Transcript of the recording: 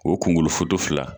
O kungolo foto fila.